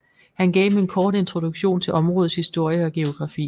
Han gav dem en kort introduktion til områdets historie og geografi